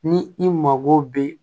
Ni i mago be